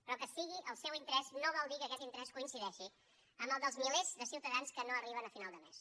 però que sigui el seu interès no vol dir que aquest interès coincideixi amb el dels milers de ciutadans que no arriben a final de mes